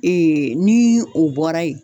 Ee ni o bɔra yen